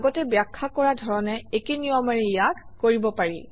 আগতে ব্যাখ্যা কৰা ধৰণে একে নিয়মেৰে ইয়াক কৰিব পাৰি